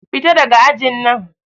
Fita daga ajin nan!